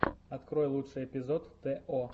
открой лучший эпизод тэ о